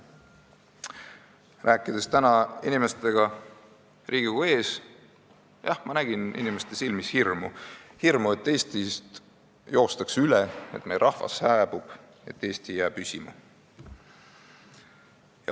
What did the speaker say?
Kui ma rääkisin täna inimestega Riigikogu ees, siis ma nägin inimeste silmis hirmu – hirmu, et Eestist joostakse üle, et meie rahvas hääbub, et Eesti ei jää püsima.